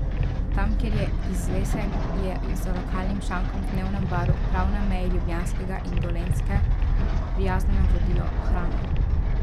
Tam, kjer je izvesek, je za lokalnim šankom v dnevnem baru, prav na meji Ljubljanskega in Dolenjske, prijazno navodilo: "Hrana?